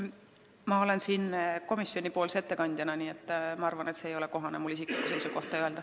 Ma olen siin puldis komisjoni ettekandjana, nii et ma arvan, et mul ei ole kohane isiklikku seisukohta öelda.